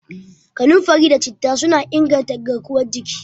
Kanunfari da Citta suna inganta garkuwar jiki.